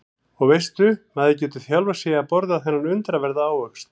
Og veistu maður getur þjálfað sig í að borða þennan undraverða ávöxt.